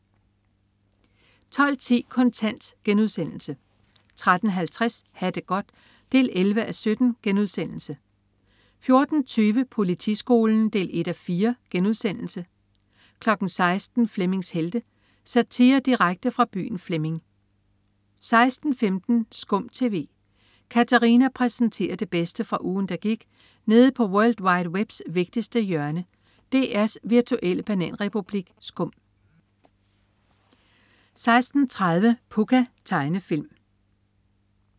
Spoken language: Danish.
12.10 Kontant* 13.50 Ha' det godt 11:17* 14.20 Politiskolen 1:4* 16.00 Flemmings Helte. Satire direkte fra byen Flemming 16.15 SKUM TV. Katarina præsenterer det bedste fra ugen, der gik nede på world wide webs vigtigste hjørne, DR's virtuelle bananrepublik SKUM 16.30 Pucca. Tegnefilm